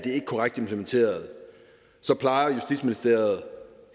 korrekt implementeret så plejer justitsministeriet